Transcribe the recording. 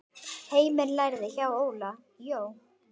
Heimir lærði hjá Óla Jó.